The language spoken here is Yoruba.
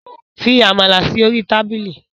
Fi amala si ori tabili